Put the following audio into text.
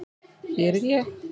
Hér er ég!!